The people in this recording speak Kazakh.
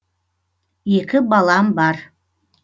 екі балам бар